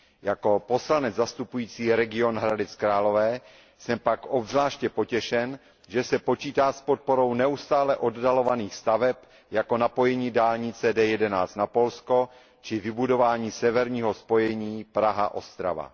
Jako poslanec zastupující region Hradec Králové jsem pak obzvláště potěšen, že se počítá s podporou neustále oddalovaných staveb, jako je napojení dálnice D11 na Polsko či vybudování severního spojení Praha Ostrava.